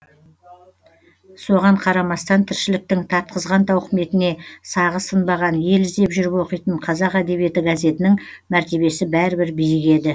соған қарамастан тіршіліктің тартқызған тауқыметіне сағы сынбаған ел іздеп жүріп оқитын қазақ әдебиеті газетінің мәртебесі бәрібір биік еді